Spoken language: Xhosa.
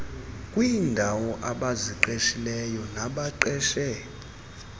kwiindaw abaziqeshileyo nabaqeshe